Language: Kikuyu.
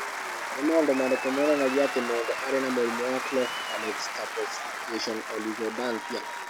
Nĩ maũndũ marĩkũ monanagia atĩ mũndũ arĩ na mũrimũ wa cleft palate stapes fixation oligodontia?